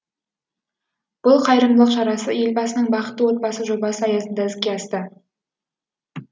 бұл қайырымдылық шарасы елбасының бақытты отбасы жобасы аясында іске асты